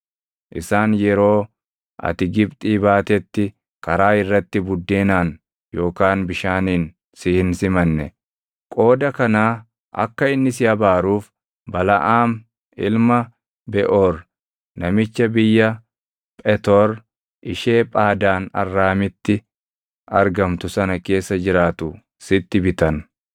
Isaan yeroo ati Gibxii baatetti karaa irratti buddeenaan yookaan bishaaniin si hin simanne; qooda kanaa akka inni si abaaruuf Balaʼaam ilma Beʼoor namicha biyya Phetoor ishee Phaadaan Arraamitti argamtu sana keessa jiraatu sitti bitan.